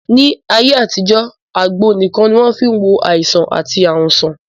Ní ayé àtijọ́, àgbo nìkan ni wọ́n fí n wo àìsàn àti ààrùn sàn